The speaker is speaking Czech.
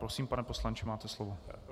Prosím, pane poslanče, máte slovo.